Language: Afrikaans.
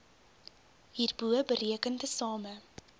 hierbo bereken tesame